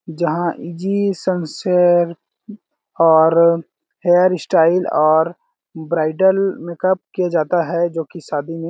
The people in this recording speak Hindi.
जहाँ जी सन सेयर और हेयर स्टाइल और ब्रिडेल मेकअप किया जाता है जो की शादी में--